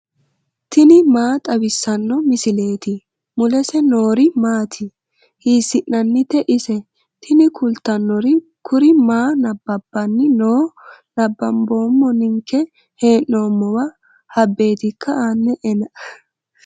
tini maa xawissanno misileeti ? mulese noori maati ? hiissinannite ise ? tini kultannori kuri maa nabbabbanni no nabanboommo ninke hee'noommowa habbeetikka aane'ena